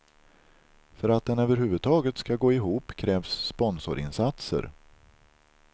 För att den överhuvudtaget ska gå ihop krävs sponsorinsatser.